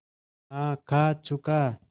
हाँ खा चुका